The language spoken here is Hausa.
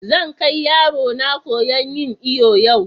Zan ƙai yarona koya'n yin iyo yau.